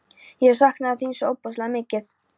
Ég saknaði þín svo ofboðslega mikið.